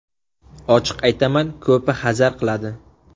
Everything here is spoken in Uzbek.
Ochiq aytaman ko‘pi hazar qiladi.